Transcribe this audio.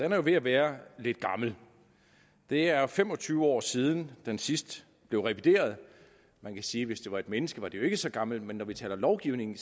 er jo ved at være lidt gammel det er fem og tyve år siden den sidst blev revideret man kan sige at hvis det var et menneske var det jo ikke så gammelt men når vi taler lovgivning